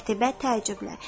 Qətibə təəccüblə.